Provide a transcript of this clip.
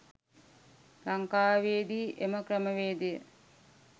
ලංකාවේ දී එම ක්‍රමවේදය